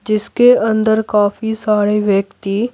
जिसके अंदर काफी सारे व्यक्ति--